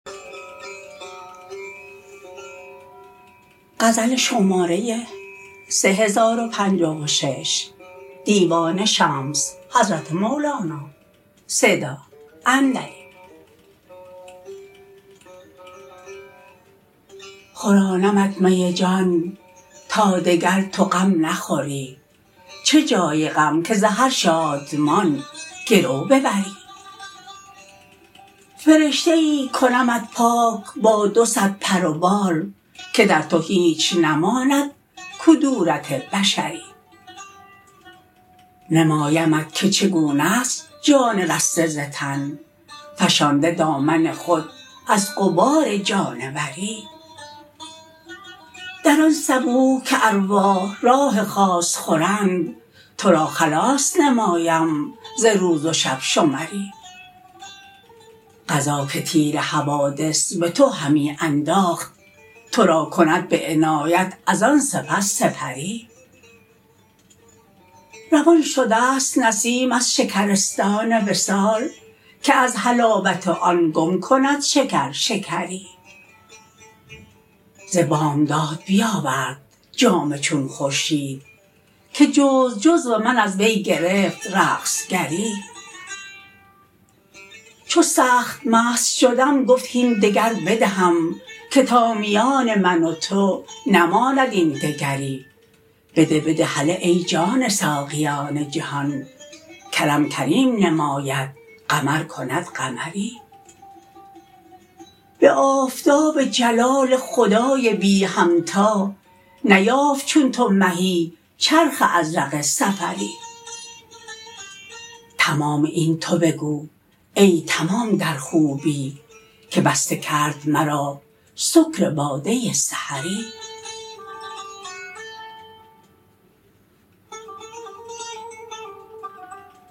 خورانمت می جان تا دگر تو غم نخوری چه جای غم که ز هر شادمان گرو ببری فرشته ای کنمت پاک با دو صد پر و بال که در تو هیچ نماند کدورت بشری نمایمت که چگونه ست جان رسته ز تن فشانده دامن خود از غبار جانوری در آن صبوح که ارواح راح خاص خورند تو را خلاص نمایم ز روز و شب شمری قضا که تیر حوادث به تو همی انداخت تو را کند به عنایت از آن سپس سپری روان شده ست نسیم از شکرستان وصال که از حلاوت آن گم کند شکر شکری ز بامداد بیاورد جام چون خورشید که جزو جزو من از وی گرفت رقص گری چو سخت مست شدم گفت هین دگر بدهم که تا میان من و تو نماند این دگری بده بده هله ای جان ساقیان جهان کرم کریم نماید قمر کند قمری به آفتاب جلال خدای بی همتا نیافت چون تو مهی چرخ ازرق سفری تمام این تو بگو ای تمام در خوبی که بسته کرد مرا سکر باده سحری